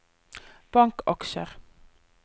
bankaksjer